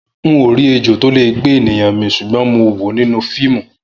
N ò rí ejò tó lè gbé ènìyàn mì rí ṣùgbọ́n mo wòó nínú fíìmù